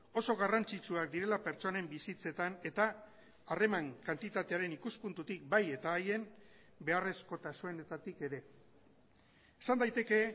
oso garrantzitsuak direla pertsonen bizitzetan eta harreman kantitatearen ikuspuntutik bai eta haien beharrezkotasunetatik ere esan daiteke